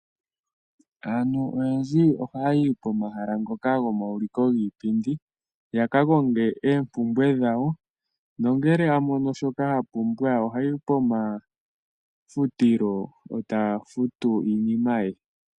Aantu oyendji ohaya yi pomahala ngoka gomauliko giipindi, ya ka konge oompumbwe dhawo, nongele a mono shoka a pumbwa oha yi pomafutilo e ta futu iinima ye.